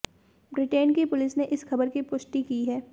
Britain की police ने इस ख़बर की पुष्टि की है